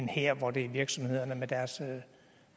her hvor det er virksomhederne med deres